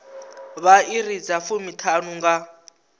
vha iri dza fumiṱhanu nga